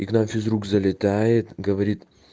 и к нам физрук залетает говорит